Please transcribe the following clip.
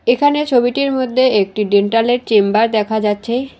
এখানে ছবিটির মদ্যে একটি ডেন্টালের চেম্বার দেখা যাচ্ছে।